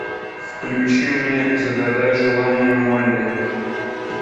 включи мне загадай желание молли